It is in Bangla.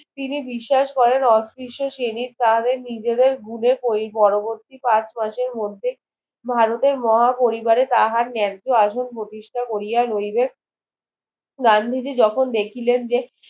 তিনি বিশ্বাস করেন অত্রিষ্ট শ্রেণীর তাহাদের নিজেদের ভুলে পরবর্তী পাঁচ মাসের মধ্যে ভারতে মহা পরিবারে তাহার নেয্য আসন প্রতিষ্ঠা কোরিয়া লইবে গান্ধীজি যখন দেখিলেন যে